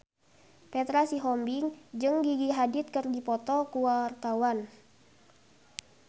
Petra Sihombing jeung Gigi Hadid keur dipoto ku wartawan